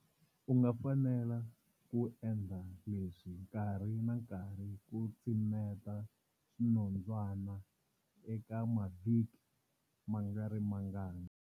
U nga fanela ku endla leswi nkarhi na nkarhi ku tsemeta swinondzwana eka mavhiki mangarimangani.